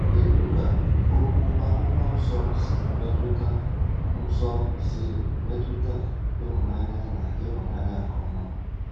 Kedu ka okwu Akwụkwọ Nsọ si metụta Nsọ si metụta ịhụnanya na ịhụnanya nke ọma?